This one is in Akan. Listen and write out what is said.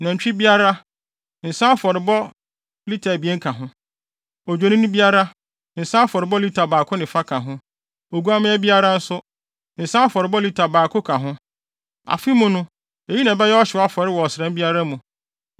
Nantwi biara, nsa afɔrebɔde lita abien ka ho. Odwennini biara, nsa afɔrebɔde lita baako ne fa ka ho. Oguamma biara nso, nsa afɔrebɔde lita baako ka ho. Afe mu no, eyi na ɛbɛyɛ ɔhyew afɔre wɔ ɔsram biara mu.